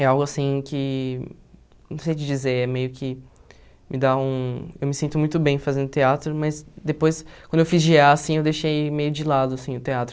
É algo assim que, não sei te dizer, é meio que me dá um... Eu me sinto muito bem fazendo teatro, mas depois, quando eu fiz gê á, assim, eu deixei meio de lado, assim, o teatro.